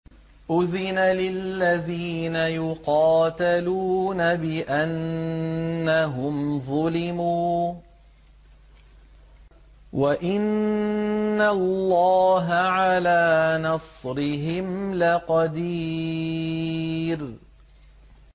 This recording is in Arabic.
أُذِنَ لِلَّذِينَ يُقَاتَلُونَ بِأَنَّهُمْ ظُلِمُوا ۚ وَإِنَّ اللَّهَ عَلَىٰ نَصْرِهِمْ لَقَدِيرٌ